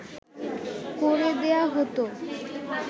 করে দেয়া হতো